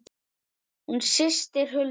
Þín systir Hulda.